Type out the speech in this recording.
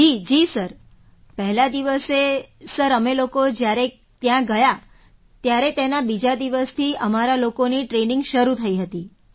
જી sir પહેલા દિવસે sir અમે લોકો જ્યારે ત્યાં ગયાં ત્યારે તેના બીજા દિવસથી અમારા લોકોની ટ્રેનિંગ શરૂ થઈ હતી